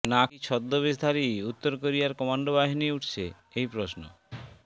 নাকি ছদ্মবেশধারী উত্তর কোরিয়ার কমান্ডো বাহিনী উঠছে এই প্রশ্ন